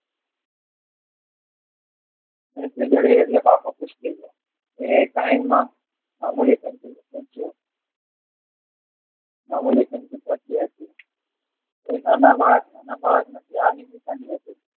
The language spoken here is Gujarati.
પેન્સિલ જડી એટલે બાપુ ખુશ થઈ ગયા